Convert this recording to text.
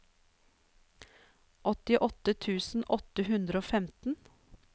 åttiåtte tusen åtte hundre og femten